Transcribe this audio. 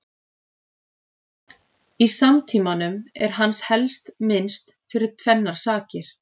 Í samtímanum er hans helst minnst fyrir tvennar sakir.